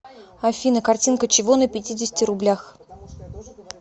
афина картинка чего на пятидесяти рублях